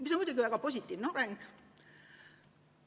See on muidugi väga positiivne areng.